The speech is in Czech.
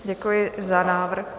Děkuji za návrh.